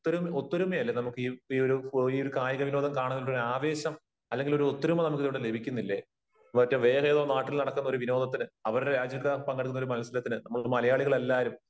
ഒത്തൊരുമയല്ലേ നമുക്കീ ഒരു കായിക വിനോദം കാണാൻ ഒരു ആവേശം അല്ലെങ്കിൽ ഒരു ഒത്തൊരുമ നമുക്കിവിടെ ലഭിക്കുന്നില്ലേ? മറ്റ് വേറെ ഏതോ ഒരു നാട്ടില് നടക്കുന്ന വിനോദത്തിന് അവരുടെ രാജ്യത്ത് പങ്കെടുക്കുന്ന ഒരു മത്സരത്തിന് നമ്മൾ മലയാളികൾ എല്ലാരും